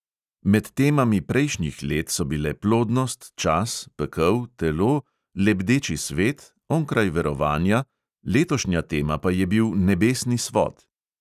Med temami prejšnjih let so bile plodnost, čas, pekel, telo, lebdeči svet, onkraj verovanja, letošnja tema pa je bil nebesni svod.